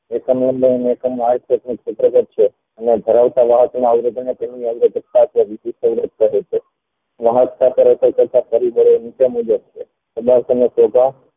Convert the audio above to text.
મુજબ છે